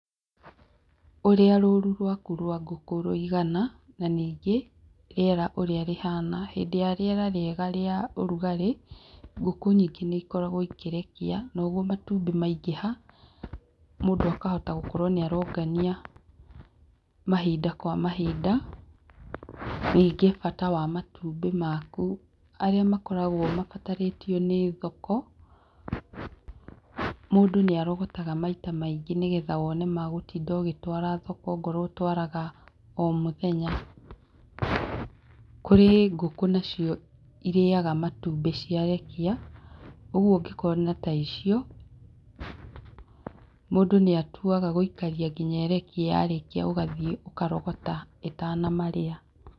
Ũrĩa rũru rwaku rwa ngũkũ rũigana na ningĩ, rĩera ũrĩa rĩhana, hĩndĩ ya rĩera rĩega rĩa ũrugarĩ ngũkũ nyingĩ nĩikoragwo ikĩrekia noguo matumbĩ maingĩha mũndũ akahota gũkorwo nĩ arongania mahinda kwa mahinda, ningĩ bata wa matumbĩ maku, arĩa makoragwo mabatarĩtio nĩ thoko mũndũ nĩ arogotaga maita maingĩ nĩgetha wone magũtinda ũgĩtwara thoko okorwo ũyũ ũtwaraga o mũthenya, kũrĩ ngũkũ nacio irĩaga matumbĩ ciarekia ũguo ũngĩ korwo na ta icio mũndũ nĩ atuaga gũkaria nginya ĩrekie ũgathiĩ ũkarogota ĩtanamarĩa.